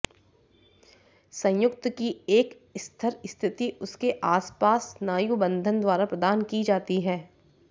संयुक्त की एक स्थिर स्थिति उसके आसपास स्नायुबंधन द्वारा प्रदान की जाती है